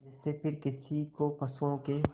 जिससे फिर किसी को पशुओं के